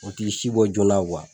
O k'i sibɔ joona